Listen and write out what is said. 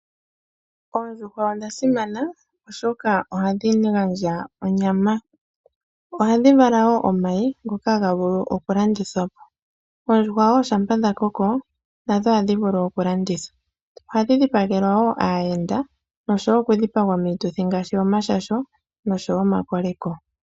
Oondjuhwa odhasimana oshoka ohadhi gandja onyama, oha dhivala wo omayi ngoka ha ga vulu okulandithwapo, oondjuhwa shampa dhakoko nadho ohadhivulu okulandithwa, ohadhi shipagelwa wo aayenda noshowo okudhipagwa miituthi ngaashi omashasho noshowo omakoleko.